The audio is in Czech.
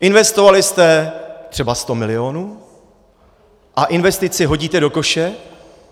Investovali jste třeba 100 milionů a investici hodíte do koše?